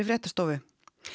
fréttastofu